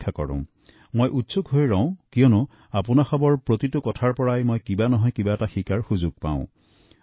মই অধীৰ আগ্ৰহেৰে অপেক্ষা কৰো কাৰণ আপোনালোকৰ পৰা মই বহুখিনি শিকিব পাৰো